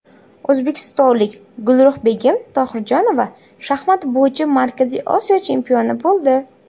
O‘zbekistonlik Gulruhbegim Tohirjonova shaxmat bo‘yicha Markaziy Osiyo chempioni bo‘ldi.